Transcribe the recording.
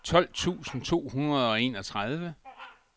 tolv tusind to hundrede og enogtredive